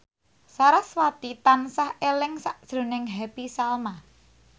sarasvati tansah eling sakjroning Happy Salma